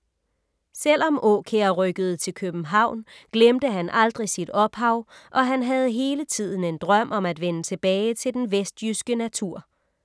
Selvom Aakjær rykkede til København glemte han aldrig sit ophav og han havde hele tiden en drøm om at vende tilbage til den vestjyske natur.